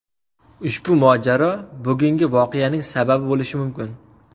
Ushbu mojaro bugungi voqeaning sababi bo‘lishi mumkin.